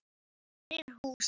Fyrir húsið.